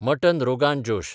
mutton rogan जोश